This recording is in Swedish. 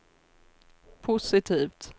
positivt